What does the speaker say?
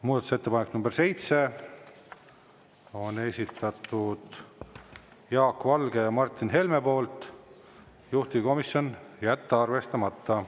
Muudatusettepaneku nr 7 on esitanud Jaak Valge ja Martin Helme, juhtivkomisjon: jätta arvestamata.